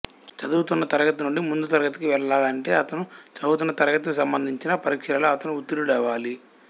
చదువుతున్న తరగతి నుండి ముందు తరగతికి వెళ్ళాలంటే అతను చదువుతున్న తరగతి సంబంధించిన పరీక్షలలో అతను ఉత్తీర్ణుడవాలి